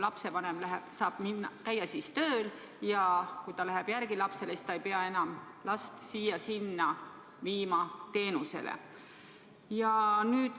Lapsevanem saab käia tööl ja lapsele järele minnes ei pea ta teda enam viima siia-sinna teenuse osutaja juurde.